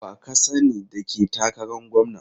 Wa ka sani da ke takaran gwamna?